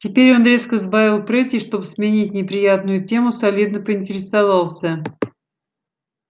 теперь он резко сбавил прыть и чтобы сменить неприятную тему солидно поинтересовался